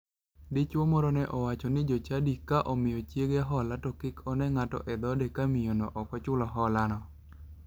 Dichuo moro ne owacho ni jochadi ni ka gimiyo chiege hola to kik one ng'ato e dho ode ka miyono ok ochulo holano.